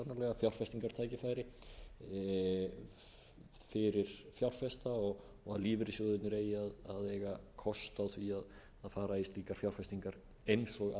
falið í sér sannarlega fjárfestingartækifæri fyrir fjárfesta og að lífeyrissjóðirnir eigi að eiga kost á því að fara í slíkar fjárfestingar eins